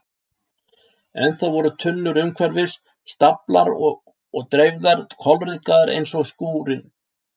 Ennþá voru tunnur umhverfis, staflaðar og dreifðar, kolryðgaðar eins og skúrinn.